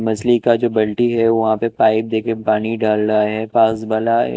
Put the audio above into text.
मछली का जो बिल्टी है वहा पे पाइप देके पानी डाल रहा ह पास बना हे--